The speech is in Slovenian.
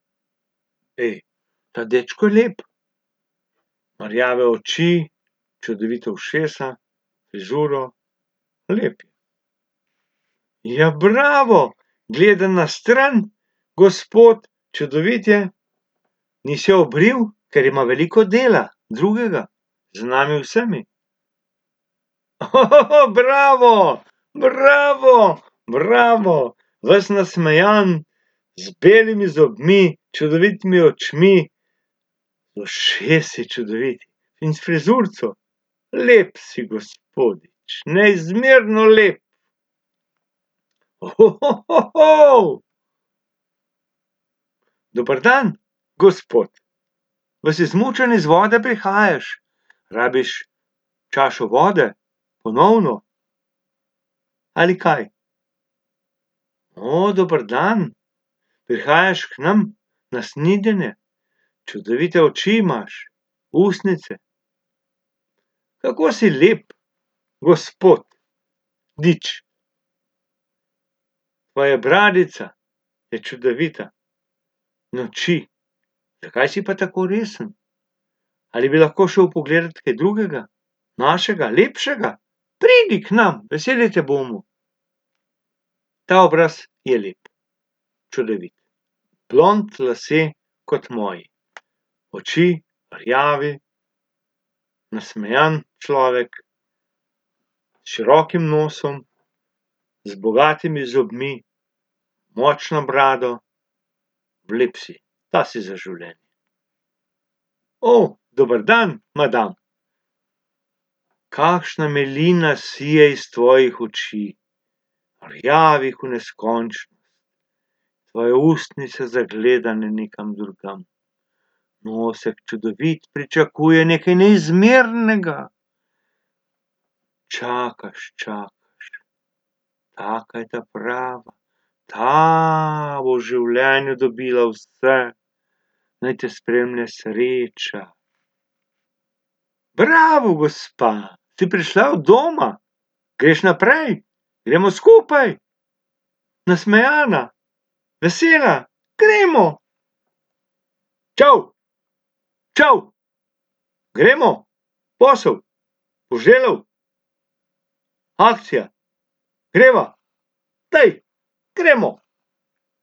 ta dečko je lep, ima rjave oči, čudovita ušesa, frizuro, lep je. Ja, bravo. Gleda na stran gospod, čudovit je, ni se obril, ker ima veliko dela, drugega. Z nami vsemi. bravo. Bravo, bravo, ves nasmejan, z belimi zobmi, čudovitimi očmi, ušesa čudovita. In s frizurico. Lep si gospodič, neizmerno lep. Dober dan, gospod. Vas izmučen iz vode prihajaš. Rabiš čašo vode? Ponovno? Ali kaj? dober dan. Prihajaš k nam na snidenje. Čudovite oči imaš, ustnice. Kako si lep, gospod- dič. Tvoja bradica. je čudovita in oči, zakaj si pa tako resen? Ali bi lahko šel pogledat kaj drugega? Manjšega, lepšega? Pridi k nam, veseli te bomo. Ta obraz je lep. Čudovit, blond lasje kot moji. Oči, rjavi, nasmejan človek, s širokim nosom z bogatimi zobmi, močno brado. za življenje. dober dan, madam. Kakšna milina sije iz tvojih oči. Rjavi ko neskončnost. Tvoje ustnice zagledane nekam drugam. Nosek čudovit, pričakuje nekaj neizmernega. Čakaš, čakaš, taka je ta prava. Ta bo v življenju dobila vse. Naj te spremlja sreča. Bravo, gospa. Si prišla od doma? Greš naprej? Gremo skupaj? Nasmejana, vesela, gremo. Čov, čov, gremo? Posel, , akcija. Greva? Daj, gremo.